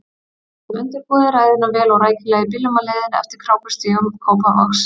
Við höfðum undirbúið ræðuna vel og rækilega í bílnum á leiðinni eftir krákustígum Kópavogs.